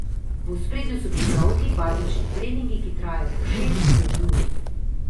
V ospredju so bili dolgi, bazični treningi, ki trajajo po šest, sedem ur.